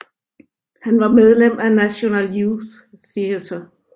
Han var medlem af National Youth Theatre